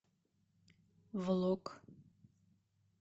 влог